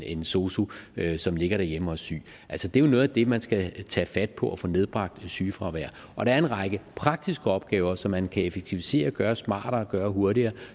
en sosu assistent ligger derhjemme og er syg det er jo noget af det man skal tage fat på at få nedbragt sygefraværet og der er en række praktiske opgaver som man kan effektivisere og gøre smartere og gøre hurtigere